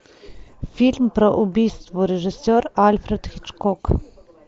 фильм про убийство режиссер альфред хичкок